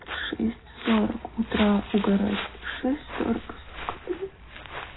из шесть сорок утра угорать шесть сорок сука блять